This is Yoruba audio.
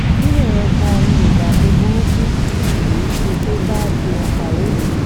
níbẹ̀ yẹn gan-an ni ìdààmú burúkú yìí ti dé bá seunkareem